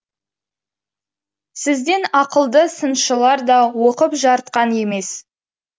сізден ақылды сыншылар да оқып жарытқан емес